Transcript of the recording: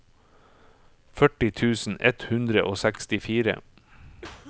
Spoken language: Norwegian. førti tusen ett hundre og sekstifire